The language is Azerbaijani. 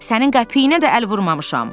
Sənin qəpiyinə də əl vurmamışam.